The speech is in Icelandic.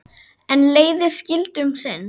En leiðir skildu um sinn.